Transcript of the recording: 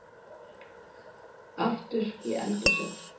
Aftur í eldhúsið.